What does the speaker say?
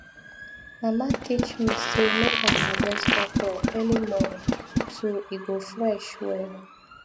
mama teach me say make i harvest okro early morning so e go fresh well